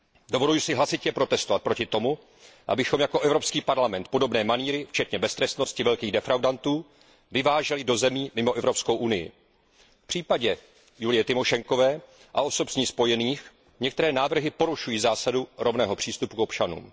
Dovoluji si hlasitě protestovat proti tomu, abychom jako Evropský parlament podobné manýry, včetně beztrestnosti velkých defraudantů, vyváželi do zemí mimo Evropskou unii. V případě Julie Tymošenkové a osob s ní spojených některé návrhy porušují zásadu rovného přístupu k občanům.